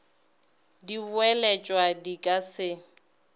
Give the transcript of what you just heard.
di boeletšwa di ka se